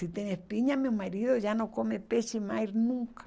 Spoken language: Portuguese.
Se tem espinha, meu marido já não come peixe mais nunca.